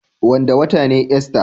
Wanda wata ne ista.